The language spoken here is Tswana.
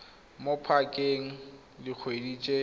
mo pakeng e dikgwedi tse